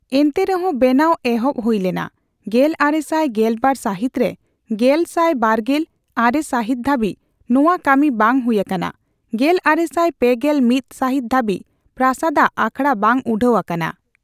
ᱮᱱᱛᱮ ᱨᱮᱦᱚᱸ ᱵᱮᱱᱟᱣ ᱮᱦᱚᱵ ᱦᱩᱭ ᱞᱮᱱᱟ ᱜᱮᱞᱟᱨᱮᱥᱟᱭ ᱜᱮᱞ ᱵᱟᱨ ᱥᱟᱹᱦᱤᱛ ᱨᱮ, ᱜᱮᱞᱥᱟᱭ ᱵᱟᱨᱜᱮᱞ ᱟᱨᱮ ᱥᱟᱹᱦᱤᱛ ᱫᱷᱟᱹᱵᱤᱡ ᱱᱚᱣᱟ ᱠᱟᱹᱢᱤ ᱵᱟᱝ ᱦᱩᱭ ᱟᱠᱟᱱᱟ, ᱜᱮᱞᱟᱨᱮᱥᱟᱭ ᱯᱮ ᱜᱮᱞ ᱢᱤᱛ ᱥᱟᱹᱦᱤᱛ ᱫᱷᱟᱹᱵᱤᱡ ᱯᱨᱟᱥᱟᱫ ᱟᱜ ᱟᱠᱷᱟᱲᱟ ᱵᱟᱝ ᱩᱰᱷᱟᱹᱣ ᱟᱠᱟᱱᱟ ᱾